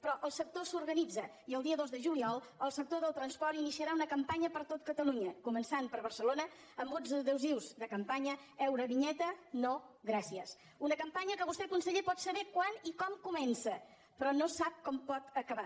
però el sector s’organitza i el dia dos de juliol el sector del transport iniciarà una campanya per tot catalunya començant per barcelona amb uns adhesius de campanya eurovinyeta no gràcies una campanya que vostè conseller pot saber quan i com comença però no sap com pot acabar